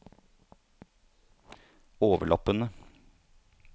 overlappende